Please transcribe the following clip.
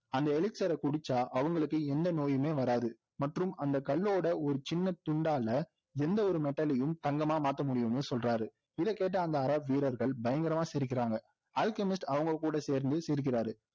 அந்த elixir ஐ குடிச்சா அவங்களுக்கு எந்த நோயுமே வராது மற்றும் அந்த கல்லோட ஒரு சின்ன துண்டால எந்த ஒரு mettal ஐயும் தங்கமா மாத்தமுடியும்னு சொல்றாரு இதை கேட்ட அந்த அராபி வீரர்கள் பயங்கரமா சிரிக்கிறாங்க அல்கெமிஸ்ட் அவங்ககூட சேர்ந்து சிரிக்கிறார்